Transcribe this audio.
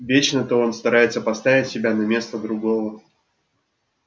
вечно-то он старается поставить себя на место другого